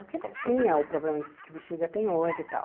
Porque não tinha o problema que que Bixiga tem hoje e tal.